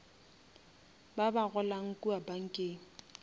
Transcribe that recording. ba ba golang kua bankeng